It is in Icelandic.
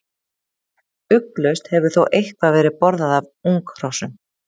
Ugglaust hefur þó eitthvað verið borðað af unghrossum.